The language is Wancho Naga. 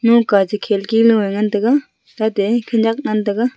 un kha che khirki nua ngan tega tate khunak ngan tega.